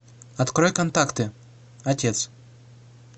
открой контакты отец